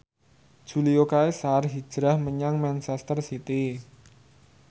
Julio Cesar hijrah menyang manchester city